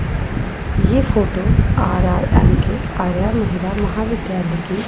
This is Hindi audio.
ये फोटो आर_आर_एम_के आर्या महिला महाविद्यालय की --